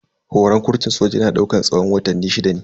Horan kurtun soja yana daukan tsawon watanni shida ne.